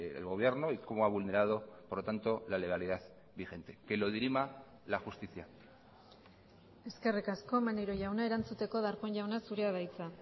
el gobierno y cómo ha vulnerado por lo tanto la legalidad vigente que lo dirima la justicia eskerrik asko maneiro jauna erantzuteko darpón jauna zurea da hitza